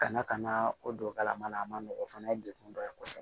Kana ka na o don kalan na a ma nɔgɔn o fana ye degun dɔ ye kosɛbɛ